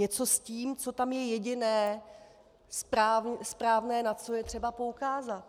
Něco s tím, co tam je jediné správné, na co je třeba poukázat.